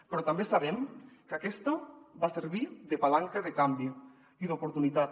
però també sabem que aquesta va servir de palanca de canvi i d’oportunitat